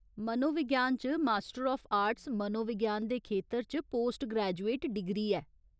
मनोविज्ञान च master of arts मनोविज्ञान दे खेतर च पोस्ट ग्रैजुएट डिग्री ऐ।